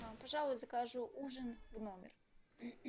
пожалуй закажу ужин в номер